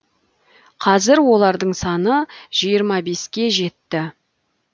қазір олардың саны жиырма беске жетті